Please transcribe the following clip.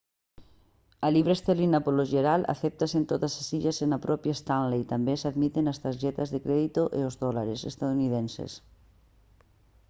a libra esterlina polo xeral acéptase en todas as illas e na propia stanley tamén se admiten as tarxetas de crédito e os dólares estadounidenses